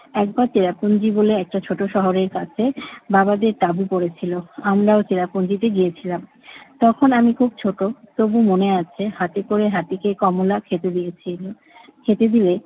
একবার টিঅ্যাপলজি বলে একটা ছোট শহরের কাছে বাবা যেয়ে তাবু করেছিল। আমরাও চেরাপুঞ্জিতে গিয়েছিলাম। তখন আমি খুব ছোট। তবু মনে আছে, হাতে করে হাতিকে কমলা খেতে দিয়েছিনু। খেতে দিলে